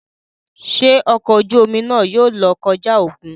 Ṣe ọkọ ojú omi náà yóò lọ kọja okùn?